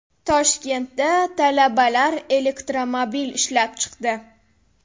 Toshkentda talabalar elektromobil ishlab chiqdi.